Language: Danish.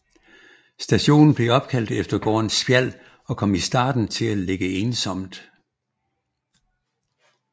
Stationen blev opkaldt efter gården Spjald og kom i starten til at ligge ensomt